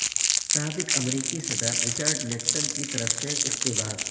سابق امریکی صدر رچرڈ نکسن کی طرف سے اقتباس